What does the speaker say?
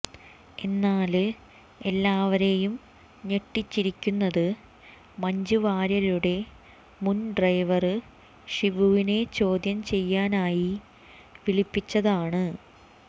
എന്നാല് എല്ലാവരെയും ഞെട്ടിച്ചിരിക്കുന്നത് മഞ്ജുവാര്യരുടെ മുന് ഡ്രൈവര് ഷിബുവിനെ ചോദ്യം ചെയ്യാനായി വിളിപ്പിച്ചതാണ്